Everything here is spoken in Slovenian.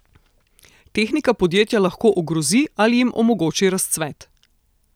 Tehnika podjetja lahko ogrozi ali jim omogoči razcvet.